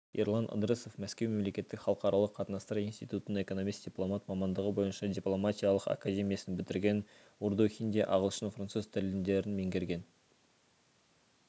ерлан ыдрысов мәскеу мемлекеттік халықаралық қатынастар институтын экономист-дипломат мамандығы бойынша дипломатиялық академиясын бітірген урду хинди ағылшын француз тілдерін меңгерген